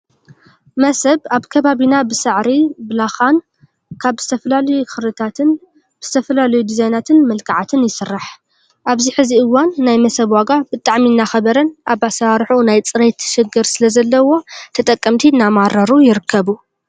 መሰብ ኣብ ከባቢና ብሳዕሪ፣ ብላኻን ካብ ዝተፈላለዩ ክርታትን ብዝተፈላለዩ ድዛይናትን መልክዓትን ይስራሕ። ኣብዚ ሕዚ እዋን ናይ መሰብ ዋጋ ብጣዕሚ እናኸበረን ኣብ ኣሰራርሑ ናይ ፅሬት ሽግር ስለዘዎን ተጠቀምቲ እናማረሩ ይርከቡ።